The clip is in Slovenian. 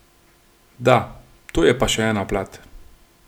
Da, to je pa še ena plat.